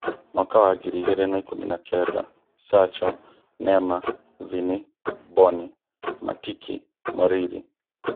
Mwaka wa ngiri igĩrĩ na ikũmi na-kenda: Sacho, Neema, Vini, Mboni, Matiki, Moriri